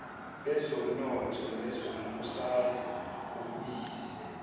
bezomnotho nezombusaze obuyize